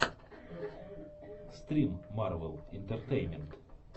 стрим марвел интертеймент